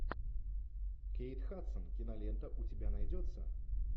кейт хадсон кинолента у тебя найдется